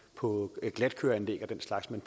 på glatføreanlæg og den slags men